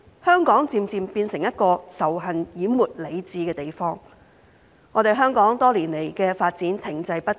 香港漸漸變成一個仇恨淹沒理智的地方，香港多年來的發展停滯不前。